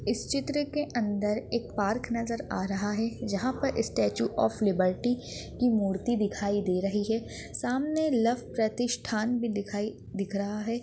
इस चित्र के अंदर एक पार्क नजर आ रहा है जहा पर इ स्टेचू ऑफ लिबर्टी की मूर्ति दिखाई दे रही है सामने लव प्रतिष्ठान भी दिखाई दिख रहा है।